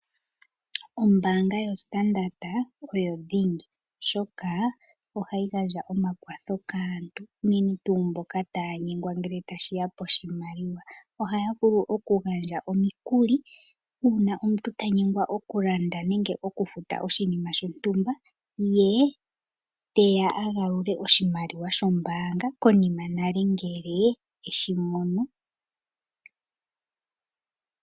Ombanga yoStandard oyo dhingi, oshoka ohayi gandja omakwatho kaantu ,aantu mboka taya nyengwa ngele tashi ya poshimaliwa. Ohaya vulu okugandja omikuli ,uuna omuntu tanyengwa okulanda nenge okufuta oshinima shontumba, ye teya agalule oshimaliwa sho mbanga konima nale ngele eshi mono.